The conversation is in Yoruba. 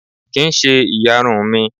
Kì ń ṣe ìyarun mi.